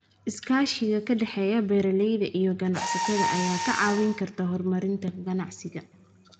Iskaashiga ka dhexeeya beeralayda iyo ganacsatada ayaa ka caawiya horumarinta ganacsiga.